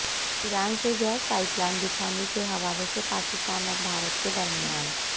ایران سےگیس pipeline بچھانے کے حوالے سے پاکستان اور بھارت کے درمیان